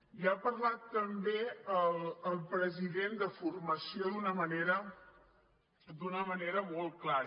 i ha parlat també el president de formació d’una manera molt clara